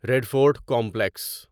red Fort complex